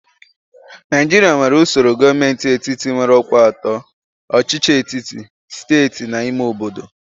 Naijiria nwere usoro gọọmentị etiti nwere ọkwa atọ: ọchịchị etiti, steeti na ime obodo.